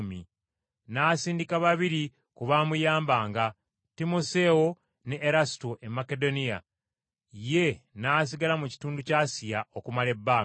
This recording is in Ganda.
N’asindika babiri ku baamuyambanga, Timoseewo ne Erasuto e Makedoniya, ye n’asigala mu kitundu kya Asiya okumala ebbanga.